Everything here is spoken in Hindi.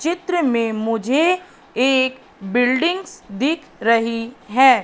चित्र में मुझे एक बिल्डिंग्स दिख रही है।